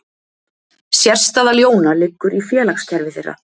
Sérstaða ljóna liggur í félagskerfi þeirra.